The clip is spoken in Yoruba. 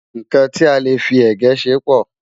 nkán tí a lè fí égẹ̀ ṣé pò